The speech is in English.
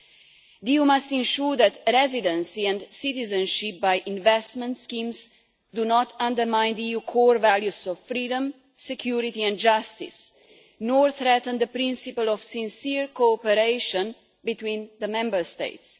The EU must ensure that residency and citizenship by investment schemes do not undermine the EU core values of freedom, security and justice, nor threaten the principle of sincere cooperation between the Member States.